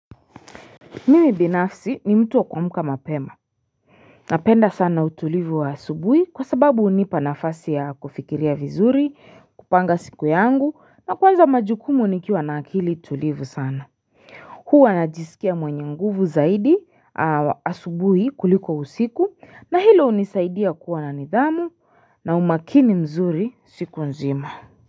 Mimi binafsi ni mtu wa kua muka mapema Napenda sana utulivu wa asubuhi kwa sababu hunipa nafasi ya kufikiria vizuri kupanga siku yangu na kuanza majukumu nikiwa na akili tulivu sana huwa najisikia mwenye nguvu zaidi wa asubuhi kuliko usiku na hilo hunisaidia kuwa na nidhamu na umakini mzuri siku nzima.